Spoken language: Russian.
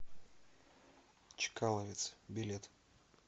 чкаловец билет